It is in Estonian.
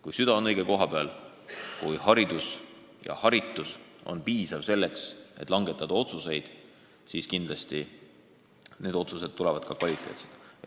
Kui süda on õige koha peal, kui haridus ja haritus on piisav selleks, et langetada õiglasi otsuseid, siis kindlasti otsused ongi õiglased.